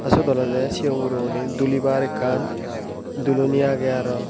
aa syot olodey sigon guro guney dulibar ekkan duloni agey aro.